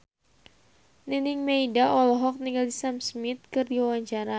Nining Meida olohok ningali Sam Smith keur diwawancara